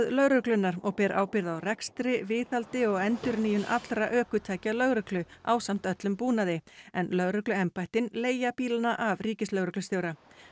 lögreglunnar og ber ábyrgð á rekstri viðhaldi og endurnýjun allra ökutækja lögreglu ásamt öllum búnaði en lögregluembættin leigja bílana af ríkislögreglustjóra